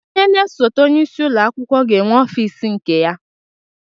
Onye na-esote onyeisi ụlọakwụkwọ ga-enwe ọfịs nke ya.